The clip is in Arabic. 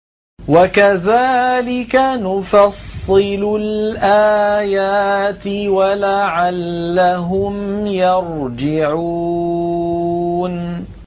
وَكَذَٰلِكَ نُفَصِّلُ الْآيَاتِ وَلَعَلَّهُمْ يَرْجِعُونَ